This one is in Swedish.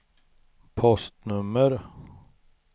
postnummer